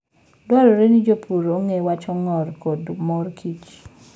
Dwarore ni jopur ong'e wach ong'or koda mor kich.